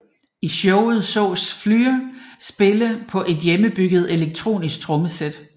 I showet sås Flür spille på et hjemmebygget elektronisk trommesæt